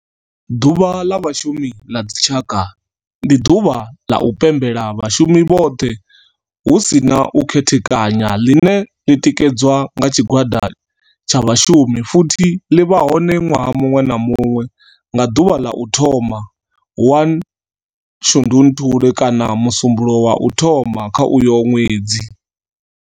Ḓuvha ḽa vhashumi la dzi tshaka, ndi duvha ḽa u pembela vhashumi vhothe hu si na u khethekanya ḽine ḽi tikedzwa nga tshigwada tsha vhashumi futhi ḽi vha hone ṅwaha muṅwe na muṅwe nga ḓuvha ḽa u thoma 1 ḽa Shundunthule kana musumbulowo wa u thoma kha uyo ṅwedzi.